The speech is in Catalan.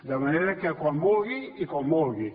de manera que quan vulgui i com vulgui